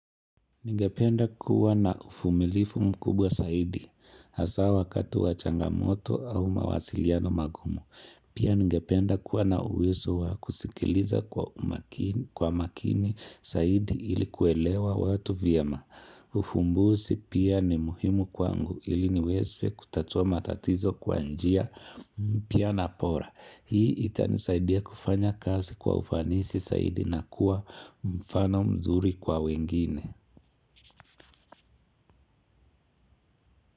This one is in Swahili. Ningependa kuwa na uvumilifu mkubwa zaidi, hasa wakati wa changamoto au mawasiliano magumu. Pia ningependa kuwa na uwezo wa kusikiliza kwa makini zaidi ili kuelewa watu vyema. Uvumbuzi pia ni muhimu kwangu ili niweze kutatua matatizo kwa njia mpya na bora. Hii itanisaidia kufanya kazi kwa ufanisi zaidi na kuwa mfano mzuri kwa wengine.